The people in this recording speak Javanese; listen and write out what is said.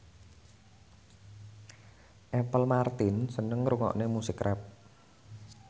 Apple Martin seneng ngrungokne musik rap